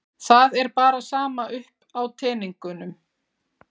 Það er bara sama upp á teningnum.